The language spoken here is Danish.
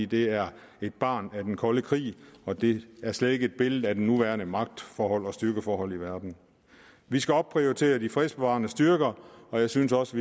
det er et barn af den kolde krig og det giver slet ikke et billede af de nuværende magtforhold og styrkeforhold i verden vi skal opprioritere de fredsbevarende styrker og jeg synes også